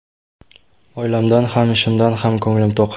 Oilamdan ham, ishimdan ham ko‘nglim to‘q.